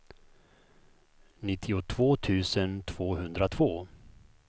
nittiotvå tusen tvåhundratvå